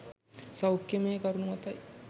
සෞඛ්‍යමය කරුණු මතයි.